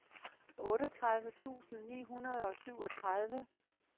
otteogtredive tusind ni hundrede og syvogtredive